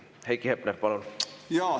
Heiki Hepner, palun!